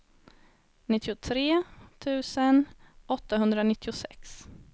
nittiotre tusen åttahundranittiosex